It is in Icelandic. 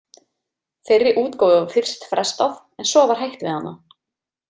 Þeirri útgáfu var fyrst frestað en svo var hætt við hana.